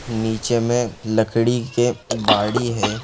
नीचे मे लकड़ी के बाड़ी है।